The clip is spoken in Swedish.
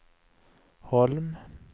Holm